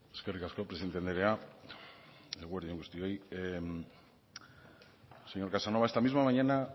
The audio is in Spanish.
eskerrik asko presidente andrea eguerdi on guztioi señor casanova esta misma mañana